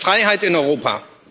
Aber das ist Freiheit in Europa.